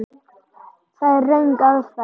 Það er röng aðferð.